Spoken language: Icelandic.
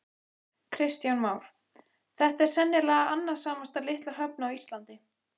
Kristján Már: Þetta er sennilega annasamasta litla höfn á Íslandi?